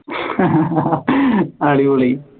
അടിപൊളി